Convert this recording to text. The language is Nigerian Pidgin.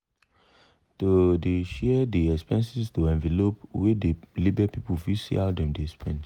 to dey share dey expenses to envelope wey dey label people fit see how dem dey spend.